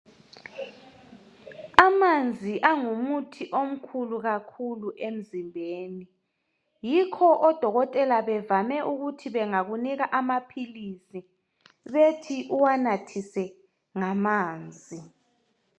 Amanzi angumuthi omkhulu kakhulu emzimbeni yikho odokotela bevame ukuthi bangakunika amaphilisi bethi uwanathise ngamanzi.